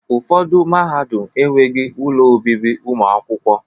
Ụfọdụ mahadum enweghị ụlọ obibi ụmụ akwụkwọ.